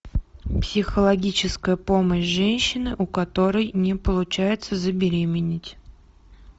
психологическая помощь женщине у которой не получается забеременеть